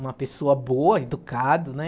Uma pessoa boa, educado, né?